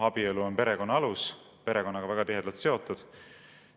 Abielu on perekonna alus, perekonnaga väga tihedalt seotud.